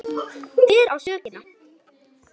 Hver á sökina?